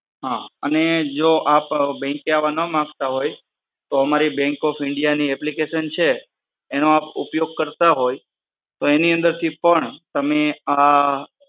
હા અને જો આપ બેંકે આવા ના માંગતા હોય તો અમારી bank of india ની application છે એનો આપ ઉપયોગ કરતા હોય તો એની અંદર થી પણ તમે આ